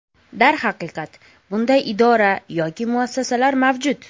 Darhaqiqat bunday idora yoki muassasalar mavjud.